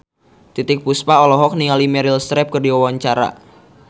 Titiek Puspa olohok ningali Meryl Streep keur diwawancara